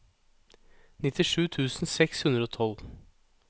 nittisju tusen seks hundre og tolv